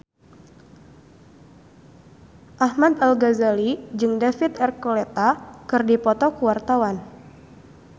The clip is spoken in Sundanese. Ahmad Al-Ghazali jeung David Archuletta keur dipoto ku wartawan